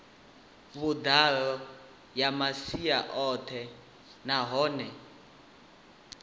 vhuḓalo ya masia oṱhe nahone